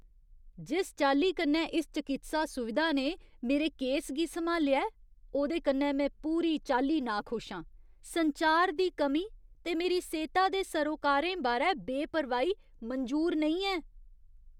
जिस चाल्ली कन्नै इस चकित्सा सुविधा ने मेरे केस गी सम्हालेआ ऐ, ओह्दे कन्नै में पूरी चाल्ली नाखुश आं। संचार दी कमी ते मेरी सेह्ता दे सरोकारें बारै बेपरवाही मंजूर नेईं ऐ।